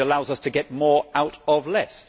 It allows us to get more out of less.